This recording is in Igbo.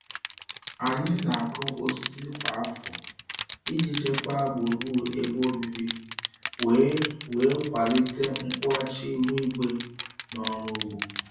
Anyị na-akụ osisi kwa afọ iji chekwaa gburugburu ebe obibi wee wee kwalite nkwụghachi ihu igwe na ọrụ ugbo.